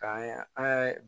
K'an ye an ye